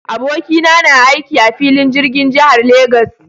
Abokina na na aiki a filin jirgin jihar Lagos.